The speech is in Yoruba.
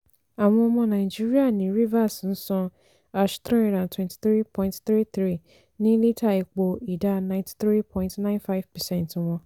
àwọn ọmọ nàìjíríà ní rivers ń san hash three hundred twenty three point three three ní lítà epo ìdá ninety three point nine five percent wọn.